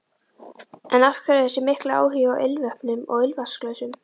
En af hverju þessi mikli áhugi á ilmvötnum og ilmvatnsglösum?